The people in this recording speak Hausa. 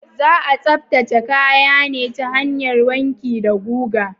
Za a tsaftace kaya ne ta hanyar wanki da guga.